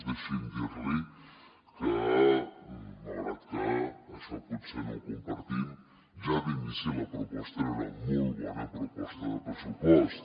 deixi’m dirli que malgrat que això potser no ho compartim ja d’inici la proposta era una molt bona proposta de pressupost